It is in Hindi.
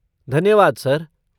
धन्यवाद सर।